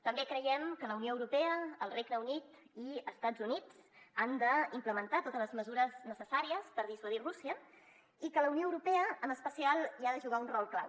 també creiem que la unió europea el regne unit i estats units han d’implementar totes les mesures necessàries per dissuadir rússia i que la unió europea en especial hi ha de jugar un rol clau